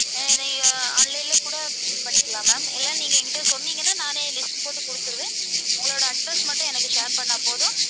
அஹ் நீங்க online ல கூட இது பண்ணிக்கலாம் ma'am இல்ல நீங்க என்கிட்ட சொன்னீங்கன்னா நானே list போட்டு குடுத்துருவேன். உங்களோட address மட்டும் எனக்கு share பண்ணா போதும்.